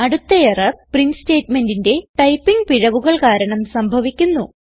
അടുത്ത error print സ്റ്റേറ്റ്മെന്റിന്റെ typing പിഴവുകൾ കാരണം സംഭവിക്കുന്നു